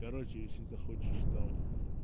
короче если захочешь там мм